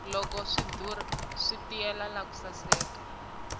loko swi dura swi tiyile naku saseka